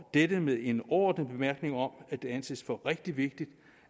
og dette med en ordentlig bemærkning om at det anses for rigtig vigtigt